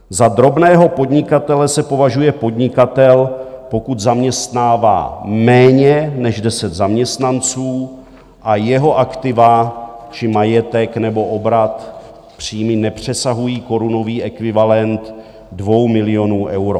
Za drobného podnikatele se považuje podnikatel, pokud zaměstnává méně než 10 zaměstnanců a jeho aktiva či majetek nebo obrat, příjmy, nepřesahují korunový ekvivalent 2 milionů euro.